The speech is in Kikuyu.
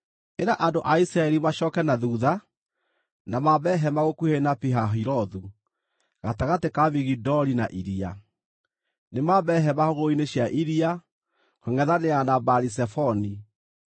“Ĩra andũ a Isiraeli macooke na thuutha, na mambe hema gũkuhĩ na Pi-Hahirothu, gatagatĩ ka Migidoli na iria. Nĩmambe hema hũgũrũrũ-inĩ cia iria, kũngʼethanĩra na Baali-Zefoni.